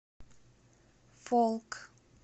фолк